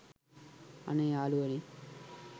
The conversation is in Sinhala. අනේ යාලුවනේ